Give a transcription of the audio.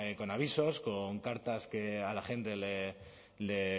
con avisos con cartas que a la gente le